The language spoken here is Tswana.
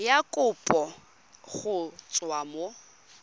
ya kopo go tswa mo